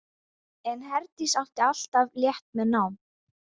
En Herdís átti alltaf létt með nám.